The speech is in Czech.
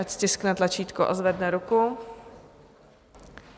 Ať stiskne tlačítko a zvedne ruku.